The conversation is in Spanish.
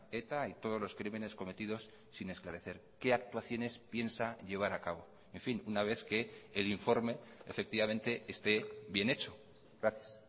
eta y todos los crímenes cometidos sin esclarecer qué actuaciones piensa llevar a cabo en fin una vez que el informe efectivamente esté bien hecho gracias